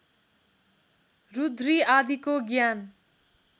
रुद्री आदिको ज्ञान